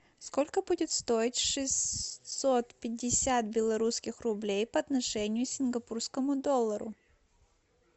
сколько будет стоить шестьсот пятьдесят белорусских рублей по отношению к сингапурскому доллару